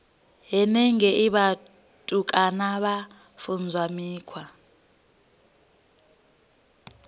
henengei vhutukani vha funzwa mikhwa